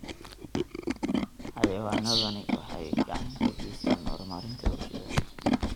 Xayawaanadani waxay gacan ka geystaan ??horumarinta bulshada.